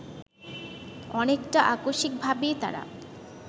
অনেকটা আকস্মিকভাবেই তারা